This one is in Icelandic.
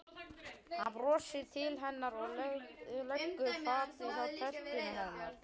Hann brosir til hennar og leggur fatið hjá tertunni hennar.